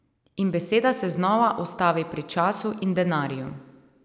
In beseda se znova ustavi pri času in denarju.